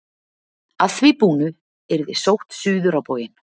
Að því búnu yrði sótt suður á bóginn.